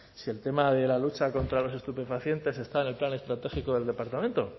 si el tema de la lucha contra los estupefacientes está en el plan estratégico del departamento